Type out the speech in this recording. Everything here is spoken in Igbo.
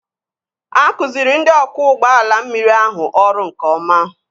Akụziri ndị ọkwọ ụgbọ mmiri ahụ ọrụ nke ọma